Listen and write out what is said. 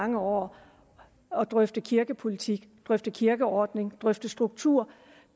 mange år og drøftet kirkepolitik drøftet kirkeordning drøftet struktur